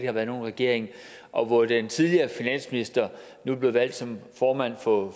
har været nogen regering og hvor den tidligere finansminister nu er blevet valgt som formand for